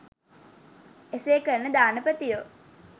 එසේ කරන දානපතියෝ